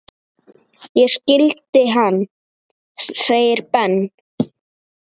Ég skildi hann! segir Ben.